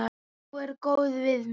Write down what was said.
Hún er góð við mig.